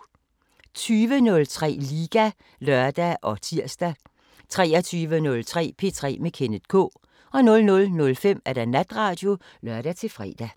20:03: Liga (lør og tir) 23:03: P3 med Kenneth K 00:05: Natradio (lør-fre)